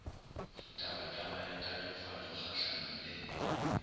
tabataba ya tatofatšo kgahlano le